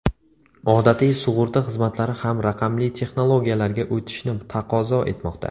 Odatiy sug‘urta xizmatlari ham raqamli texnologiyalarga o‘tishni taqozo etmoqda.